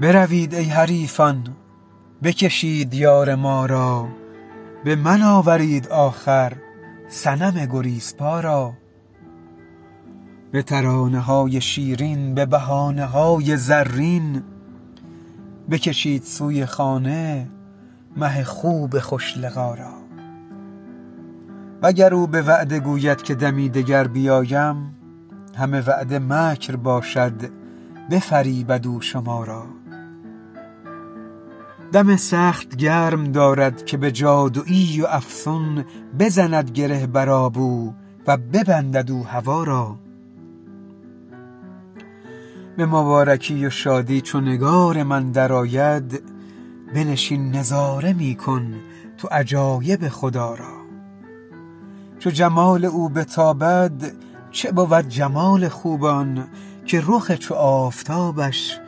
بروید ای حریفان بکشید یار ما را به من آورید آخر صنم گریزپا را به ترانه های شیرین به بهانه های زرین بکشید سوی خانه مه خوب خوش لقا را وگر او به وعده گوید که دمی دگر بیایم همه وعده مکر باشد بفریبد او شما را دم سخت گرم دارد که به جادوی و افسون بزند گره بر آب او و ببندد او هوا را به مبارکی و شادی چو نگار من درآید بنشین نظاره می کن تو عجایب خدا را چو جمال او بتابد چه بود جمال خوبان که رخ چو آفتابش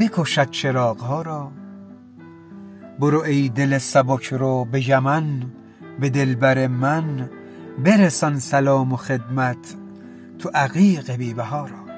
بکشد چراغ ها را برو ای دل سبک رو به یمن به دلبر من برسان سلام و خدمت تو عقیق بی بها را